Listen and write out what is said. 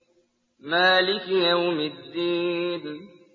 مَالِكِ يَوْمِ الدِّينِ